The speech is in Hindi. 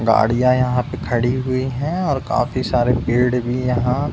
गाड़ियां यहाँ पे खड़ी हुई है और काफी सारे पेड़ भी यहाँ --